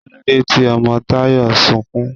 Kílódé tí ọmọ Tayọ̀ n sunkún?